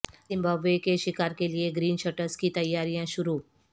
Zimbabwe کے شکار کیلیے گرین شرٹس کی تیاریاں شروع